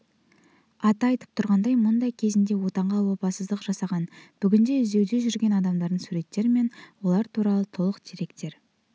аты айтып тұрғандай мұнда кезінде отанға опасыздық жасаған бүгінде іздеуде жүрген адамдардың суреттері мен олар туралы толық деректер